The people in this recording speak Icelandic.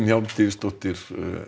Hjálmtýsdóttir